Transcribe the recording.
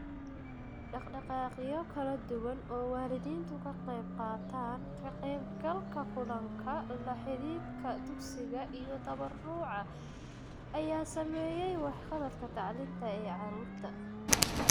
Dhaqdhaqaaqyo kala duwan oo waalidiintu ka qaybqaataan ka qaybgalka kulanka, la xidhiidhka dugsiga iyo tabaruca ayaa saameeyay waxqabadka tacliinta ee carruurta.